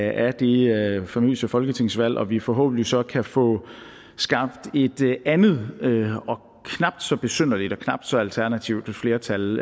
af det famøse folketingsvalg og at vi forhåbentlig så kan få skabt et andet og knap så besynderligt og knap så alternativt flertal